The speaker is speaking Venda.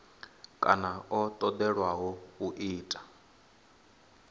kana o tendelwaho u ita